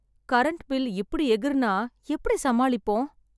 Current bill இப்டி எகுறுநா எப்படி சமாளிப்போம்.